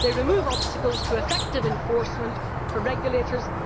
remove obstacles to effective enforcement for regulators